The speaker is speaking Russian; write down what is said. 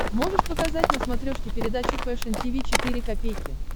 можешь показать на смотрешке передачу фэшн ти ви четыре ка